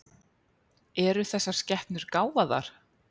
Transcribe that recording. Eru þessar skepnur gáfaðar?